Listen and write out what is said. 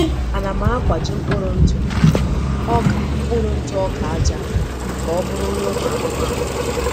"A na m akwaji mkpụrụ ntụ ọka mkpụrụ ntụ ọka aja ka ọbụrụ nri ụmụ anụmanụ.